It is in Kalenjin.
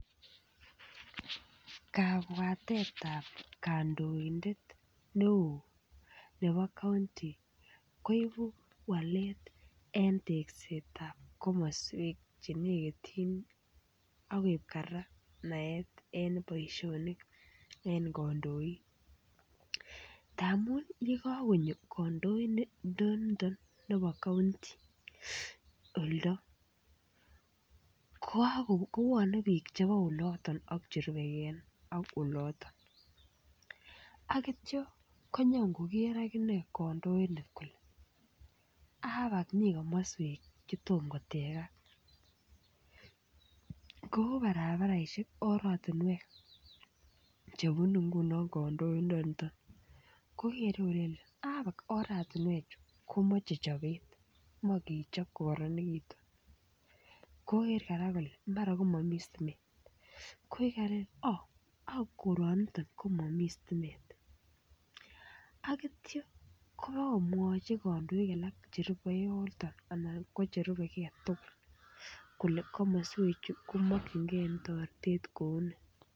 Kabwatetap kandoindet neoo nebo kaunti koibu walet en teksetab komaswek chenekitchin akoip kora naet en boishonik en kandoik. Ngamun nye kakonyo kandoindet nebo kaunti oldo kopwane piik chebo oloton ak cherupeken ak oloton. Ak ityo konyon koker akine kandoindet kole aa kot mii komaswek che tom kotekan. Kou barabaraishek, oratinwek chebunu nguno kandoindaniton. Kokore kole angot oratinwechu komache chopet ak kechop kokararanikitu. Koker kora kole mara ko mamii stimet. Koi kole aah, ka koraniton komami stimet. Aitya komwachi kandoik alak cherupe en yutok ana ko cherupe kee tukul kole komaswechu komakchinkei taretet kouni.